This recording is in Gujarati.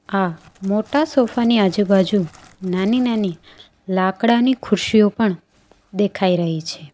આ મોટા સોફા ની આજુબાજુ નાની નાની લાકડાની ખુરશીઓ પણ દેખાય રહી છે.